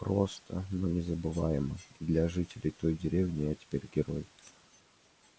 просто но незабываемо и для жителей той деревни я теперь герой